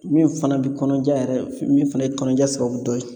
Min fana bɛ kɔnɔja yɛrɛ min fana ye kɔnɔnja sababu dɔ ye